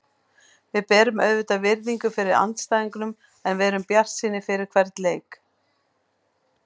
Við berum auðvitað virðingu fyrir andstæðingunum en við erum bjartsýnir fyrir hvern leik.